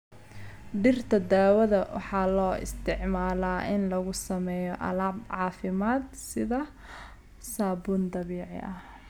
Dhirta dawada waxaa loo isticmaalaa in lagu sameeyo alaab caafimaad sida saabuun dabiici ah.